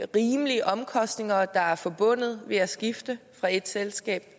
rimelige omkostninger der er forbundet med at skifte fra et selskab